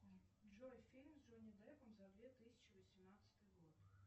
джой фильм с джонни деппом за две тысячи восемнадцатый год